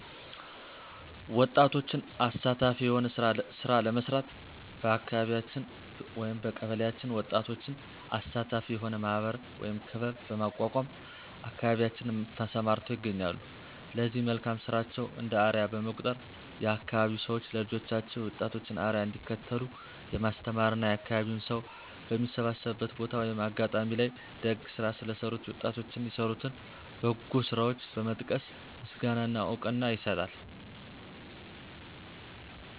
ወጣቶችን አሳታፊ የሆነ ስራ ለመስራት በአካቢያችን/በቀበሌአችን ወጣቶችን አሳታፊ የሆነ ማህበር(ክበብ) በማቋቋም አካባቢያችን ተሰማርተው ይገኛሉ ለዚህ መልካም ስራቸው እንደ አርያ በመቁጠር የአካባቢዉ ሰዎች ለልጆቻቸው የወጣቶችን አርያ እንዲከተሉ የማስተማር እና የአካባቢው ሰው በሚሰባሰብበት ቦታ(አጋጣሚ) ላይ ደግ ስራ ለሰሩት የወጣቶን የሰሩትን በጎ ስራቸውን በመጥቀስ ምስጋና እና እውቅና ይሰጣል።